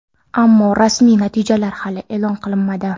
Ammo rasmiy natijalar hali e’lon qilinmadi.